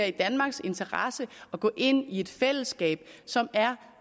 i danmarks interesse at gå ind i et fællesskab som er